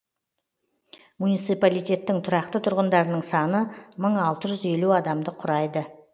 муниципалитеттің тұрақты тұрғындарының саны мың алты жүз елу адамды құрайды